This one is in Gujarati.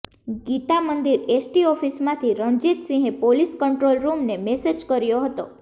ગીતા મંદિર એસટી ઓફિસમાંથી રણજીતસિંહે પોલીસ કંટ્રોલરૂમને મેસેજ કર્યો હતો